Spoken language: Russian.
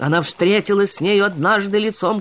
она встретилась с ней однажды лицом